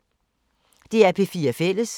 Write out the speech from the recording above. DR P4 Fælles